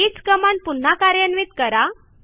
हीच कमांड पुन्हा कार्यान्वित करा